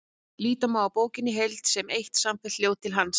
Líta má á bókina í heild sem eitt samfellt ljóð til hans.